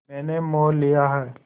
मैंने मोल लिया है